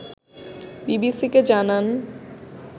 বিবিসিকে জানান